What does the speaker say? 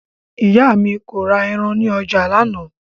Ìyá mi kò ra ẹran ní ọjà lánàá